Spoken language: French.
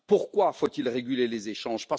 Pourquoi faut il réguler les échanges?